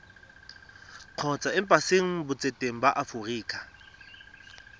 kgotsa embasing botseteng ba aforika